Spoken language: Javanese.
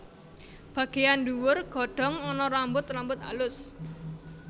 Bagéyan ndhuwur godhong ana rambut rambut alus